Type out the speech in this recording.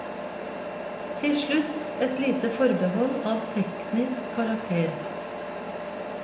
Til slutt et lite forbehold av teknisk karakter.